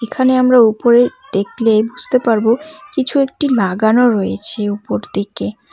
এখানে আমরা উপরে দেখলে বুঝতে পারবো কিছু একটি লাগানো রয়েছে উপর দিকে।